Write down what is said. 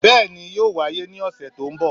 Bẹ́ẹ̀ni, yoo waye ni ọsẹ to nbo.